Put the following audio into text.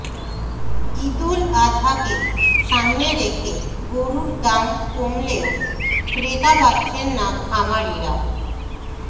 ঈদুল আজহাকে সামনে রেখে গরুর দাম কমলেও ক্রেতা পাচ্ছেন না খামারিরা